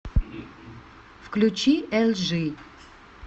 включи элжи